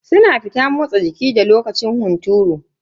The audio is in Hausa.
Suna fita motsa jiki da lokacin hunturu.